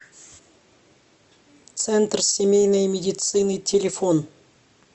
центр семейной медицины телефон